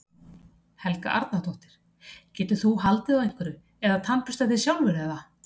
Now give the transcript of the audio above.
Helga Arnardóttir: Getur þú haldið á einhverju eða tannburstað þig sjálfur eða?